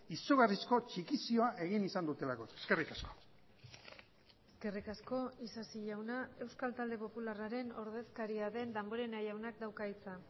izugarrizko txikizioa egin izan dutelako eskerrik asko eskerrik asko isasi jauna euskal talde popularraren ordezkaria den damborenea jaunak dauka hitza